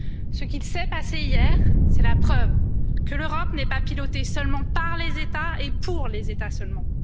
Ce qu'il s'est passé hier, c'est la preuve que l'Europe n'est pas pilotée seulement par les États, et pour les États seulement.